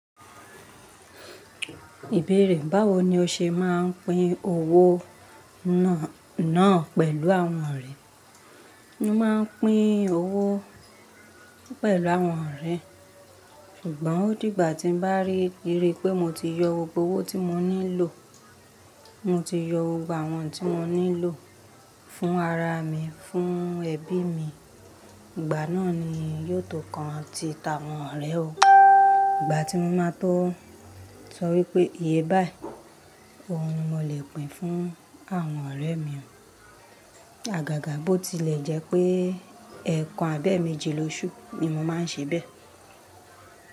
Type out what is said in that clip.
Ìbéèrè báwo ni o ṣe máa ń pín owó náà pẹ̀lú àwọn ọ̀rẹ́? Mo máa ń pín owó pẹ̀lú àwọn ọ̀rẹ́, ṣùgbọ́n ó dìgbà tí bá rí pé mo ti yọ gbogbo owó tí mo nílò, mo ti yọ gbogbo àwọn tí mo nílò fún ara mi, fún ẹbí mi, ìgbà náà ni yóò tó kán ti ta àwọn ọ̀rẹ́ o. Ìgbà tí mo maá tó sọ wí pé iye báyìí, oun mo lè pín fún àwọn ọ̀rẹ́ mi. Àgàgà bó tilẹ̀ jẹ́ pé ẹ̀ẹ̀kan abẹ ẹ́ méejì lóṣù ni mo máa ń ṣe bẹ́ẹ̀.